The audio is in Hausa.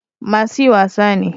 Masu yi wasa ne